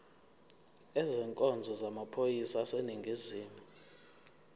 ezenkonzo yamaphoyisa aseningizimu